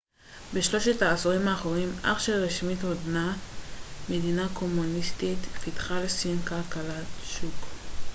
בשלושת העשורים האחרונים אף שרשמית עודנה מדינה קומוניסטית פיתחה סין כלכלת שוק